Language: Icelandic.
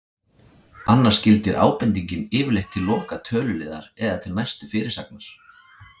Annars gildir ábendingin yfirleitt til loka töluliðar eða til næstu fyrirsagnar.